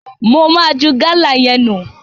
Mo ma ju Gala yẹn nu.